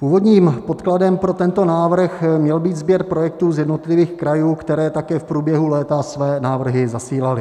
Původním podkladem pro tento návrh měl být sběr projektů z jednotlivých krajů, které také v průběhu léta své návrhy zasílaly.